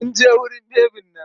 Mun je wurin bebin nan.